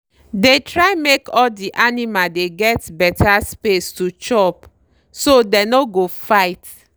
dey try make all de animal dey get beta space to chop—so dey no go fight.